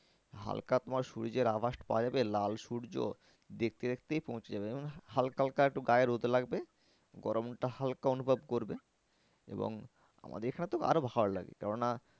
হালকা তোমার সূর্যের আভাসটা পাওয়া যাবে লাল সূর্য দেখতে দেখতেই পৌঁছে যাবে হালকা হালকা একটু গায়ে রোদ লাগবে গরমটা হালকা অনুভব করবে এবং আমাদের এখানে তো আরো ভালো লাগে কেন না।